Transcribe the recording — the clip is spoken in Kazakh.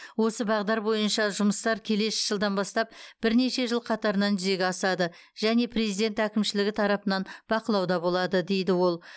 осы бағыттар бойынша жұмыстар келесі жылдан бастап бірнеше жыл қатарынан жүзеге асады және президент әкімшілігі тарапынан бақылауда болады дейді ол